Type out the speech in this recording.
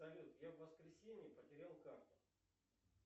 салют я в воскресенье потерял карту